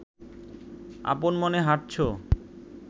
আপন মনে হাঁটছো